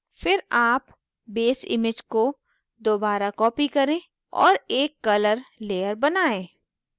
फिर आप base image को दोबारा copy करें और एक colour layer बनायें